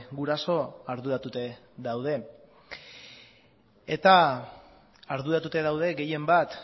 guraso arduratuta daude eta arduratuta daude gehienbat